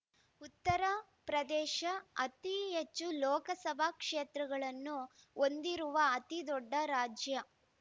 ಉತ್ತರ ಪ್ರದೇಶ ಅತಿ ಹೆಚ್ಚು ಲೋಕಸಭಾ ಕ್ಷೇತ್ರಗಳನ್ನು ಹೊಂದಿರುವ ಅತಿದೊಡ್ಡ ರಾಜ್ಯ